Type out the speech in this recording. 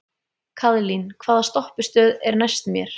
Kaðlín, hvaða stoppistöð er næst mér?